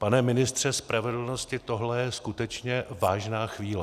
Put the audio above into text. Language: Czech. Pane ministře spravedlnosti, tohle je skutečně vážná chvíle.